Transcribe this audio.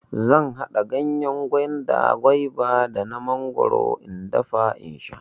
Zan haɗa ganyen gwanda, gwaiba da na mangwaro in dafa in sha.